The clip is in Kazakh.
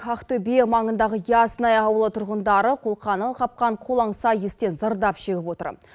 ақтөбе маңындағы ясная ауылы тұрғындары қолқаны қапқан қолаңса иістен зардап шегіп отыр